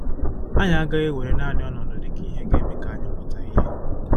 Anyị agaghị ewere naanị ọnọdụ dị ka ihe ga-eme ka anyị mụta ihe.